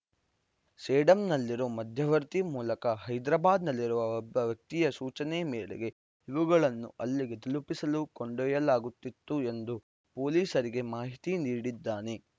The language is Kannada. ಸೇಡಂನಲ್ಲಿರೋ ಮಧ್ಯವರ್ತಿ ಮೂಲಕ ಹೈದ್ರಾಬಾದ್‌ನಲ್ಲಿರುವ ಒಬ್ಬ ವ್ಯಕ್ತಿಯ ಸೂಚನೆ ಮೇರೆಗೆ ಇವುಗಳನ್ನು ಅಲ್ಲಿಗೆ ತಲುಪಿಸಲು ಕೊಂಡೊಯ್ಯಲಾಗುತ್ತಿತ್ತು ಎಂದು ಪೊಲೀಸರಿಗೆ ಮಾಹಿತಿ ನೀಡಿದ್ದಾನೆ